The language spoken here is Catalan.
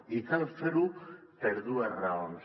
i cal fer ho per dues raons